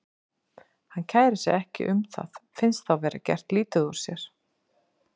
Hann kærir sig ekki um það, finnst þá vera gert lítið úr sér.